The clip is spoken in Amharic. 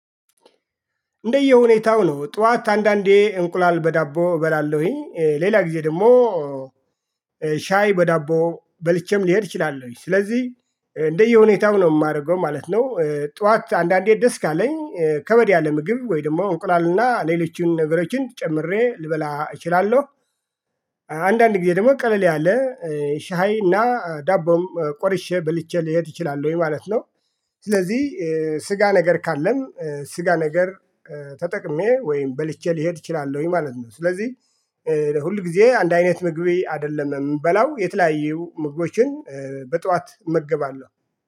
እንደየሁኔታው ነው ጠዋት አንዳንዴ እንቁላል በዳቦ እበላለሁኝ ሌላ ጊዜ ደግሞ ሻይ በዳቦ በልቼም ልሄድ እችላለሁ ስለዚህ እንደየሁኔታው ነው የማደርገው ማለት ነው። ጠዋት አንዳንዴ ደስ ካለኝ ከበድ ያለ ምግብ ወይም ደግሞ እንቁላልና ሌሎችን ነገሮችን ጨምሬ ልበላ እችላለሁ። አንዳንድ ጊዜ ደግሞ ቀለል ያለ ሻይና እና ዳቦም ቆርሼ በልቼ ልሄድ ይችላል ወይ ማለት ነው። ስለዚህ ስጋ ነገር ካለን ስጋ ነገር ተጠቅሜ ወይም በልቼ ልሄድ እችላለሁኝ ማለት ነው። ስለዚህ ሁል ጊዜ አንድ አይነት ምግብ አይደለም የምበላው የተለያዩ ምግቦችን በጠዋት እመገባለሁ